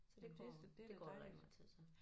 Så det går det går der rigtig meget tid til